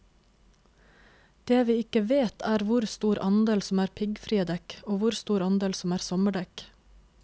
Det vi ikke vet er hvor stor andel som er piggfrie dekk, og hvor stor andel som er sommerdekk.